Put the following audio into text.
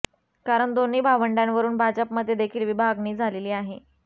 कारण दोन्ही भावंडांवरून भाजपमध्ये देखील विभागणी झालेली आहे